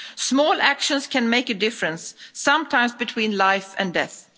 Small actions can make a difference, sometimes between life and death.